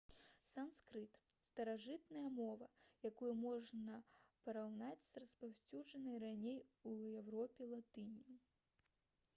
санскрыт старажытная мова якую можна параўнаць з распаўсюджанай раней у еўропе латынню